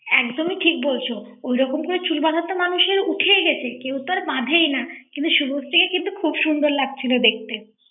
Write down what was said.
একদমই ঠিক বলছো ঐরকম তো চুল বাঁধা মানুষের উঠেই গেছে কেউ তো আর বাঁধেই না কিন্তু শুভশ্রীকে কিন্তু খুব সুন্দর লাগছিল দেখতে ৷